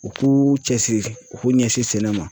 U k'u cɛsiri u k'u ɲɛsin sɛnɛ ma